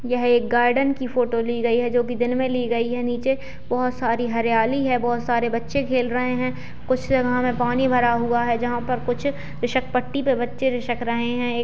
यह एक गार्डन की फोटो ली गई है जो की दिन में ली गई है नीचे बहोत सारी हरीयाली है बहोत सारे बच्चे खेल रहे हैं कुछ जगह पानी भरा हुआ है जहाँ पर कुछ रिसक पट्टी पे बच्चे पट्टी पे रिसक रहे हैं एक --